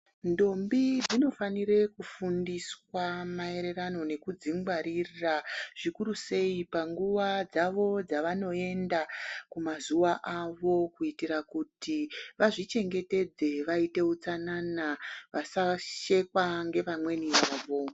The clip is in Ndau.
Ntombi dzinofanira kufundiswa maererano nekudzingwarira zvikuruseyi panguva dzavo dzavanoenda kumazuva avo kuitira kuti vazvichengetedze vaite utsanana vasashekwa ngevamweni vavo.